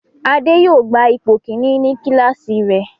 Ade yóò gba ipò kìíní ní kíláàsì rẹ̀.